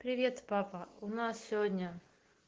привет папа у нас сегодня